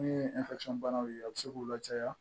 Min ye banaw ye a bɛ se k'u lajaya